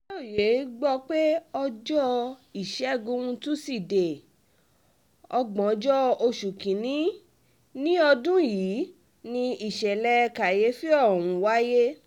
aláròye gbọ́ pé ọjọ́ ìṣègùn túṣìdéé ògbóǹjọ oṣù kín-ín-ní ọdún yìí ni ìṣẹ̀lẹ̀ kàyééfì ọ̀hún wáyé